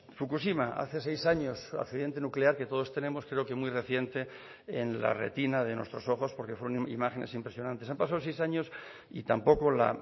fukushima hace seis años accidente nuclear que todos tenemos creo que muy reciente en la retina de nuestros ojos porque fueron imágenes impresionantes han pasado seis años y tampoco la